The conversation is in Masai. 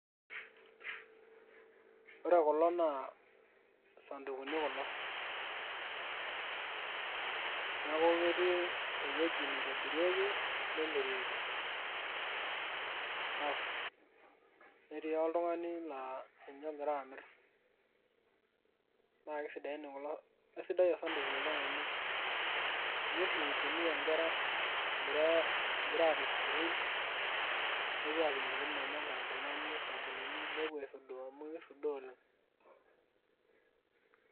ore kulo naa isadukuni kulo, neeku ketii ewueji neitobirieki, nemirieki, naa ketii oltungani laa ninye ogira amir, naaa kisidai oshi osaduku oleng amu ninye oshi itumia nkera aapik inkilani esukuul nepuo aisudoo amu kisudoo oleng'.